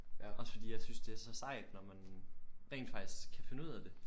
Ja også fordi jeg synes det er så sejt når man rent faktisk kan finde ud af det